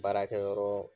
Baarakɛyɔrɔ